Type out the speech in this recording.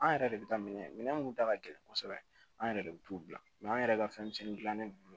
An yɛrɛ de bɛ taa minɛ minnu ta ka gɛlɛn kosɛbɛ an yɛrɛ de bɛ t'u bila mɛ an yɛrɛ ka fɛnmisɛnninw dilannen don